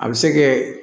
A bɛ se kɛ